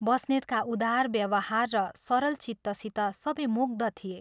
बस्नेतका उदार व्यवहार र सरल चित्तसित सबै मुग्ध थिए।